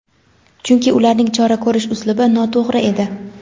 Chunki ularning chora ko‘rish uslubi noto‘g‘ri edi.